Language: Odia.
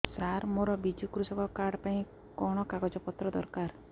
ସାର ମୋର ବିଜୁ କୃଷକ କାର୍ଡ ପାଇଁ କଣ କାଗଜ ପତ୍ର ଦରକାର